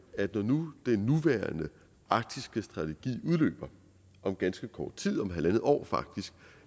når nu den nuværende arktiske strategi udløber om ganske kort tid om halvandet år